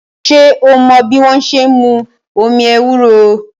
Ṣé o mọ́ bí wọ́n ṣe n mú omi ewúro?